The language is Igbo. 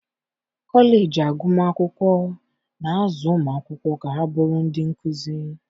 kọleji agụmakwụkwọ na-azụ ụmụ akwụkwọ ka ha bụrụ ndị nkuzi.